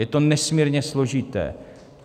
Je to nesmírně složité.